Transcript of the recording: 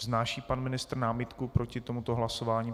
Vznáší pan ministr námitku proti tomuto hlasování?